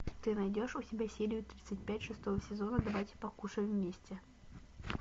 ты найдешь у себя серию тридцать пять шестого сезона давайте покушаем вместе